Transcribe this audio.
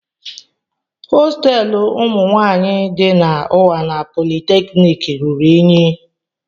Hostelu umụ nwanyị di na unwana polytechniki ruru unyi.